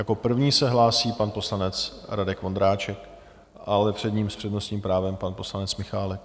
Jako první se hlásí pan poslanec Radek Vondráček, ale před ním s přednostním právem pan poslanec Michálek.